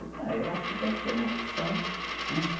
Eu falei, eh, eu acho que deve ser uma opção, né